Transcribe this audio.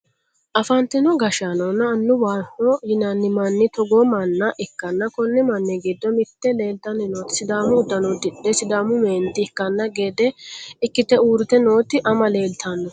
afantino gashshaanonna annuwaho yinanni manni togoo manna ikkanna konni manni giddo mitte leeltanni nooti sidaamu uddano uddidhe sidaamu meenti ikkanno gede ikkite uurrite nooti ama leeltanno.